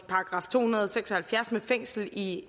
§ to hundrede og seks og halvfjerds med fængsel i